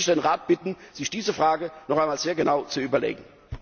Deshalb möchte ich den Rat bitten, sich diese Frage noch einmal sehr genau zu überlegen.